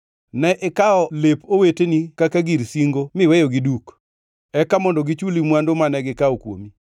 Ne ikawo lep oweteni kaka gir singo miweyogi duk; eka mondo gichuli mwandu mane gikawo kuomi.